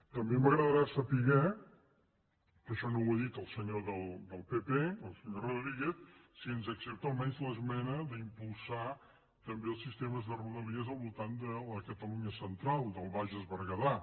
també m’agradarà saber que això no ho ha dit el senyor del pp el senyor rodríguez si ens accepta almenys l’esmena d’impulsar també els sistemes de rodalies al voltant de la catalunya central del bages berguedà